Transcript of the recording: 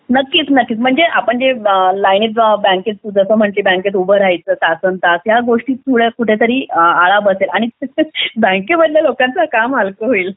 नक्कीच नक्कीच म्हणजे आपण जे लाईन बँकेत म्हणजे जसं तू म्हणालीस लाईनीत उभा राहायचं तासंतास या गोष्टी पुढे तरी आळा बसेल बँकेमध्ये लोकांचं काम हलकं होईल